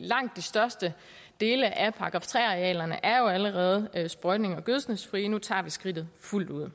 langt de største dele af § tre arealerne er jo allerede sprøjtnings og gødskningsfrie nu tager vi skridtet fuldt ud